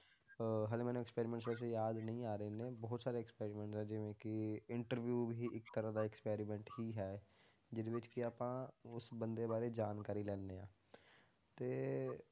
ਅਹ ਹਾਲੇ ਮੈਨੂੰ experiments ਵੈਸੇ ਯਾਦ ਨਹੀਂ ਆ ਰਹੇ ਇੰਨੇ ਬਹੁਤ ਸਾਰੇ experiment ਆ ਜਿਵੇਂ ਕਿ interview ਵੀ ਇੱਕ ਤਰ੍ਹਾਂ ਦਾ experiment ਹੀ ਹੈ, ਜਿਹਦੇ ਵਿੱਚ ਕਿ ਆਪਾਂ ਉਸ ਬੰਦੇ ਬਾਰੇ ਜਾਣਕਾਰੀ ਲੈਂਦੇ ਹਾਂ ਤੇ